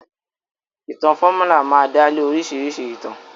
Ìtàn fọ́múlà máa dálé oríṣìíríṣìí ìtàn.